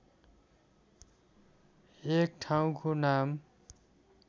एक ठाउँको नाम